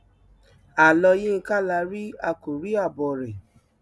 àlọ yinka la rí a kò rí àbọ rẹ